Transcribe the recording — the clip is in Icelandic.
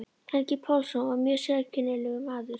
Helgi Pálsson var mjög sérkennilegur maður.